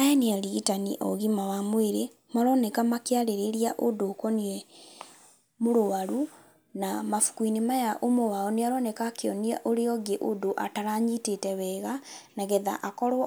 Aya nĩ arigitani a ũgima wa mwĩrĩ, maroneka makĩarĩrĩria ũndũ ũkoniĩ mũrũaru. Na mabuku-inĩ maya ũmwe wao nĩ aroneka akĩonia ũrĩa ũngĩ ũndũ ataranyitĩte wega, nagetha akorwo